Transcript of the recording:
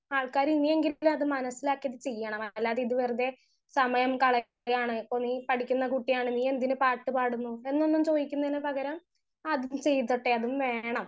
speaker 1 ആൾക്കാർ ഇനിയെങ്കിലും അത് മനസിലാക്കിട്ട് ചെയ്യണം അല്ലാതെ ഇത് വെറുതെ സമയം കളയാണ് ഇപ്പൊ നീ പഠിക്കുന്ന കുട്ടിയാണ് നീ എന്തിന് പാട്ട് പാടുന്നു എന്നൊന്നും ചോയിക്കുന്നതിന് പകരം അതും ചെയ്തട്ടേ അതും വേണം